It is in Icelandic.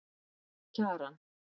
Kjaran